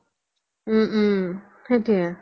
উম উম সেইতোয়ে